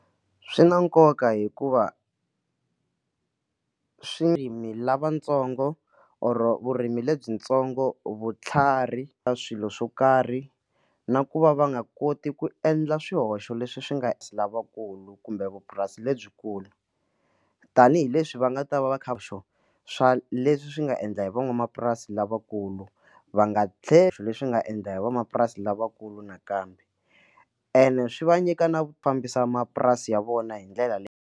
Swi na nkoka hikuva swirimi lavatsongo or vurimi lebyintsongo vutlhari ka swilo swo karhi na ku va va nga koti ku endla swihoxo leswi swi nga lavakulu kumbe vupurasi lebyikulu tanihileswi va nga ta va va kha va sure swa leswi swi nga endla hi van'wamapurasi lavakulu va nga tlhela xo leswi nga endla hi van'wamapurasi lavakulu nakambe ene swi va nyika na ku fambisa mapurasi ya vona hi ndlela leyo.